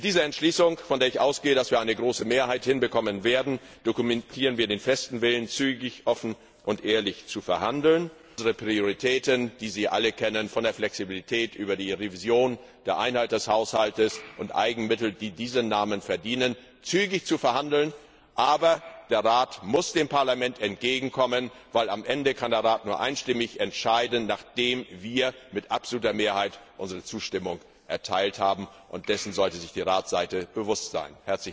Mit dieser Entschließung ich gehe davon aus, dass wir eine große Mehrheit dafür bekommen werden dokumentieren wir den festen Willen, zügig, offen und ehrlich über unsere Prioritäten, die Sie alle kennen, von der Flexibilität über die Revision und die Einheit des Haushalts bis zu Eigenmitteln, die diesen Namen verdienen, zu verhandeln. Aber der Rat muss dem Parlament entgegenkommen, weil am Ende kann der Rat nur einstimmig entscheiden, nachdem wir mit absoluter Mehrheit unsere Zustimmung erteilt haben, und dessen sollte sich die Ratsseite bewusst sein.